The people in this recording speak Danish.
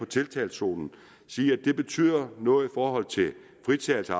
tiltagszonerne sige at det betyder noget i forhold til fritagelsen